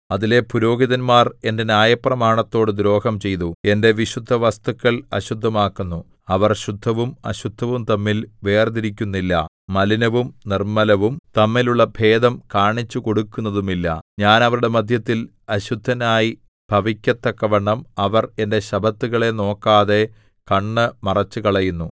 അതിലെ പുരോഹിതന്മാർ എന്റെ ന്യായപ്രമാണത്തോടു ദ്രോഹം ചെയ്തു എന്റെ വിശുദ്ധവസ്തുക്കൾ അശുദ്ധമാക്കുന്നു അവർ ശുദ്ധവും അശുദ്ധവും തമ്മിൽ വേർതിരിക്കുന്നില്ല മലിനവും നിർമ്മലവും തമ്മിലുള്ള ഭേദം കാണിച്ചുകൊടുക്കുന്നതുമില്ല ഞാൻ അവരുടെ മദ്ധ്യത്തിൽ അശുദ്ധനായി ഭവിക്കത്തക്കവണ്ണം അവർ എന്റെ ശബ്ബത്തുകളെ നോക്കാതെ കണ്ണ് മറച്ചുകളയുന്നു